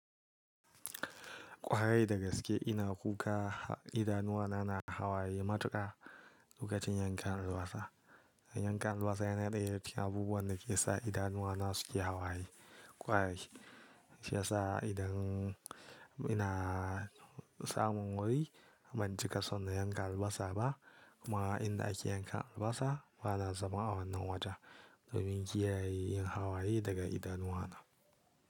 Ƙwarai da gaske ina kuka idanuwana na hawaye matuƙa lokacin yankan albasa. Yankan albasa yana ɗaya daga cikin abubuwan da ke sa idanuwana suke hawaye. Kwarai, shi ya sa idan ina samun wuri ban cika so na yanka albasa ba kuma inda ake yankan albasa bana zama a wannan wajen domin kiyaye yin hawaye daga idanuwana.